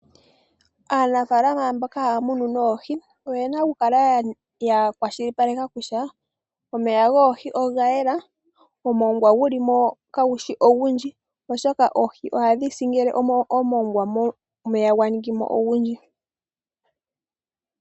Aanafaalama mboka ha ya munu oohi, oyena oku kala ya kwashilipaleka kutya, omeya goohi oga yela, omongwa gulimo, ka gu shi ogundji, oshoka oohi oha dhi si ngele omongwa gwa ningimo ogundji.